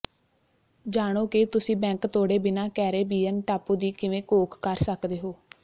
ਜਾਣੋ ਕਿ ਤੁਸੀਂ ਬੈਂਕ ਤੋੜੇ ਬਿਨਾਂ ਕੈਰੇਬੀਅਨ ਟਾਪੂ ਦੀ ਕਿਵੇਂ ਘੋਖ ਕਰ ਸਕਦੇ ਹੋ